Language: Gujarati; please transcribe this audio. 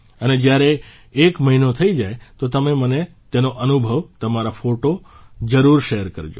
અને જયારે એક મહિનો થઇ જાય તો તમે મને તેનો અનુભવ તમારો ફોટો જરૂર શેર કરજો